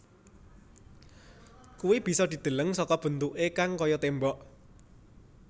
Kuwi bisa dideleng saka bentuke kang kaya tembok